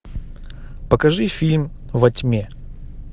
покажи фильм во тьме